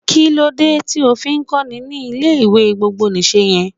Kílódé tí o fi ń kọ́ni ní ilé ìwé gbogbo nìse yẹn?